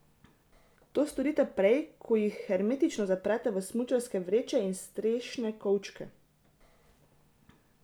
To storite prej, ko jih hermetično zaprete v smučarske vreče in strešne kovčke.